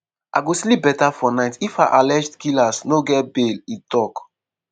"i go sleep beta for night if her alleged killers no get bail" e tok.